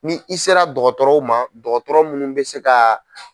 Ni i sera dɔgɔtɔrɔw ma dɔgɔtɔrɔ munnu bɛ se ka